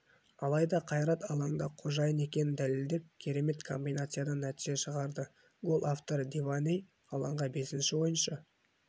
алайда қайрат алаңда қожайын екенін дәлелдеп керемет комбинациядан нәтиже шығарды гол авторы диваней алаңға бесінші ойыншы